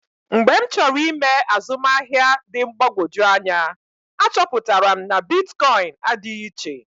Mgbe m chọrọ ịme azụmahịa dị mgbagwoju anya, achọpụtara m na bitkọịn adịghị iche.